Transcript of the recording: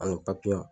Ani